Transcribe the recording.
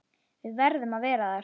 Við verðum að vera þar.